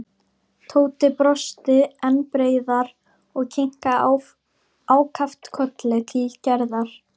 Tóti brosti enn breiðar og kinkaði ákaft kolli til Gerðar.